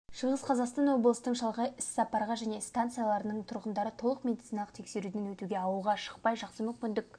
шығыс қазақстан облысының шалғай іссапарға және станцияларының тұрғындары толық медициналық тексеруден өтуге ауылға шықпай жақсы мүмкіндік